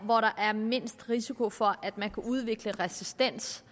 hvor der er mindst risiko for at man kan udvikle resistens